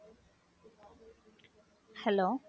hello